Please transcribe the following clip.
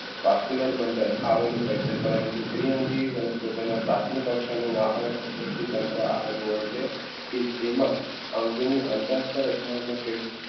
vascular bundle આવેલું હોય છે પરંતુ દ્વિઅંગી વનસ્પતિઓ પ્રાથમિક વાહક આવેલું હોય છે કે જેમાં અંગ